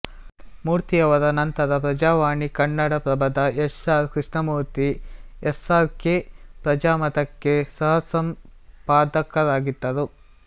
ಮೂರ್ತಿಯವರ ನಂತರ ಪ್ರಜಾವಾಣಿಕನ್ನಡಪ್ರಭದ S R Krishnamurthy SRK ಪ್ರಜಾಮತಕ್ಕೆ ಸಹಸಂಪಾದಕರಾಗಿದ್ದರು